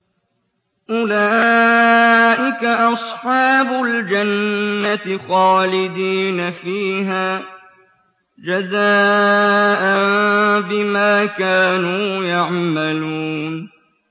أُولَٰئِكَ أَصْحَابُ الْجَنَّةِ خَالِدِينَ فِيهَا جَزَاءً بِمَا كَانُوا يَعْمَلُونَ